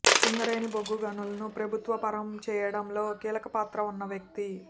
సింగరేణి బొగ్గు గనులను ప్రభుత్వ పరం చేయడంలో కీలకపాత్ర వున్న వ్యక్తి